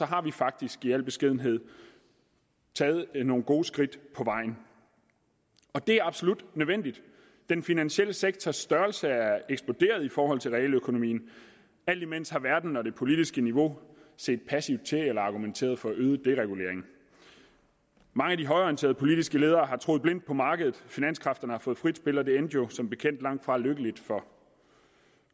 har vi faktisk i al beskedenhed taget nogle gode skridt på vejen og det er absolut nødvendigt den finansielle sektors størrelse er eksploderet i forhold til realøkonomien og alt imens har verden og det politiske niveau set passivt til eller argumenteret for øget deregulering mange af de højreorienterede politiske ledere har troet blindt på markedet finanskræfterne har fået frit spil og det endte jo som bekendt langtfra lykkeligt for